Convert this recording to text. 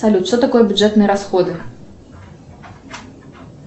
салют что такое бюджетные расходы